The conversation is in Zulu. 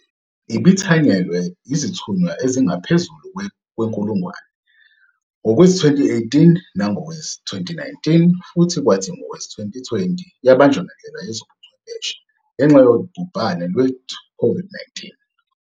Ibithanyelwe yizithunywa ezingaphezulu kwenkulungwane ngowezi-2018 nangowezi-2019, futhi kwathi ngowezi-2020 yabanjwa ngendlela yezobuchwepheshe ngenxa yobhubhane lweCOVID-19.